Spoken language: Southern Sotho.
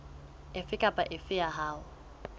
efe kapa efe ya yona